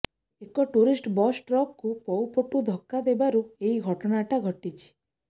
ଏକ tourist bus ଟ୍ରକକୁ ପଉ ପଟୁ ଧକ୍କା ଦେବାରୁ ଏହି ଦୁର୍ଘଟଣା ଘଟିଛି